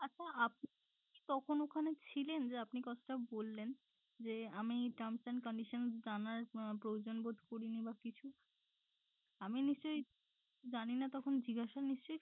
আচ্ছা আপনি কি তখন ওখানে ছিলেন যে আপনি কথাটা বললেন যে আমি terms and conditions জানার প্রয়োজন বোধ করিনি বা কিছু আমি নিশ্চয়ই জানিনা তখন জিজ্ঞাসা নিশ্চয়ই